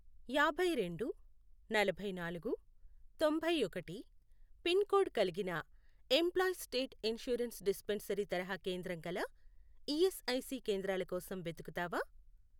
యాభైరెండు, నలభైనాలుగు, తొంభైఒకటి, pin code కలిగిన ఎంప్లాయీస్ స్టేట్ ఇన్షూరెన్స్ డిస్పెన్సరీ తరహా కేంద్రం గల ఈఎస్ఐసి కేంద్రాల కోసం వెతుకుతావా?